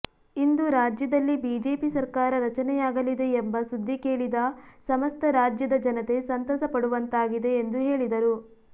ಇಂದು ರಾಜ್ಯದಲ್ಲಿ ಬಿಜೆಪಿ ಸರಕಾರ ರಚನೆಯಾಗಲಿದೆ ಎಂಬ ಸುದ್ಧಿ ಕೆಳಿದ ಸಮಸ್ತ ರಾಜ್ಯದ ಜನತೆ ಸಂತಸ ಪಡುವಂತಾಗಿದೆ ಎಂದು ಹೇಳಿದರು